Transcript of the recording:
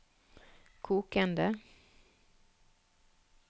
kokende